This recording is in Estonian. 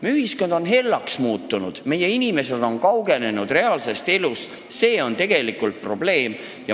Meie ühiskond on hellaks muutunud, meie inimesed on kaugenenud reaalsest elust – see on tegelikult probleem.